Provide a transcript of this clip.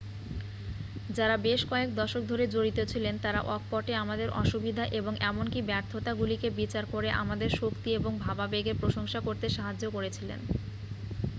যারা বেশ কয়েক দশক ধরে জড়িত ছিলেন তারা অকপটে আমাদের অসুবিধা এবং এমনকি ব্যর্থতাগুলিকে বিচার করে আমাদের শক্তি এবং ভাবাবেগের প্রশংসা করতে সাহায্য করেছিলেন